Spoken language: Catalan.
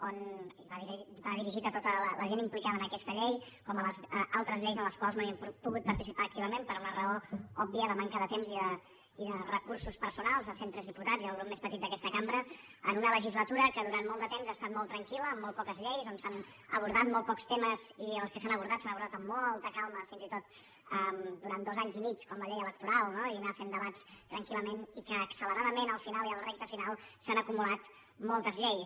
i va dirigit a tota la gent implicada en aquesta llei com a altres lleis en les quals no hem pogut participar activament per una raó òbvia de manca de temps i de recursos personals sent tres diputats i el grup més petit d’aquesta cambra en una legislatura que durant molt de temps ha estat molt tranquil·la amb molt poques lleis on s’han abordat molt pocs temes i els que s’han abordat s’han abordat amb molta calma fins i tot durant dos anys i mig com la llei electoral no i anar fent debats tranquil·lament i acceleradament al final a la recta final s’han acumulat moltes lleis